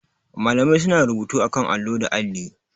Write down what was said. Malamai suna rubutu akan allo da alli.